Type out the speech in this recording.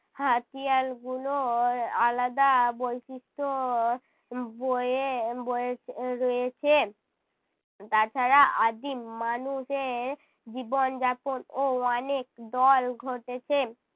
হাতিয়ার গুলোর আলাদা বৈশিষ্ট্য বোয়ে বয়ে এর রয়েছে। তাছাড়া আদিম মানুষ এর জীবনযাপন ও অনেক দল ঘটেছে।